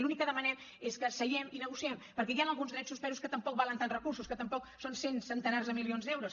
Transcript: l’únic que demanem és que seiem i negociem perquè hi han alguns drets suspesos que tampoc valen tants recursos que tampoc són cents centenars de milions d’euros